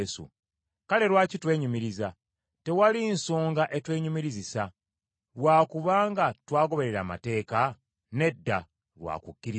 Kale lwaki twenyumiriza? Tewali nsonga etwenyumirizisa. Lwa kuba nga twagoberera amateeka? Nedda, lwa kukkiriza.